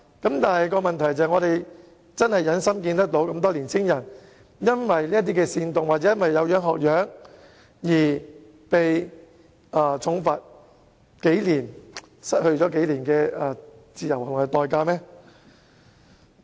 我們真的忍心看到這麼多青年人因這些煽動行為或"有樣學樣"而被重罰或監禁數年，因此失去及付出數年的自由和代價嗎？